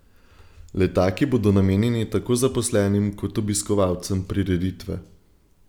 Letaki bodo namenjeni tako zaposlenim kot obiskovalcem prireditve.